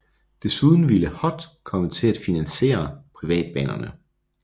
Desuden ville HOT komme til at finansiere privatbanerne